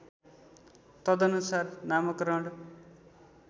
तदनुसार नामकरण